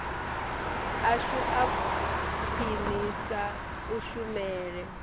ashu a u khwinisa kushumele